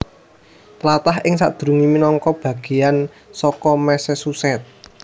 Tlatah iki sadurungé minangka bagéyan saka Massachusetts